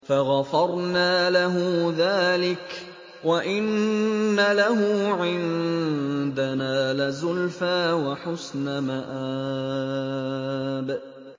فَغَفَرْنَا لَهُ ذَٰلِكَ ۖ وَإِنَّ لَهُ عِندَنَا لَزُلْفَىٰ وَحُسْنَ مَآبٍ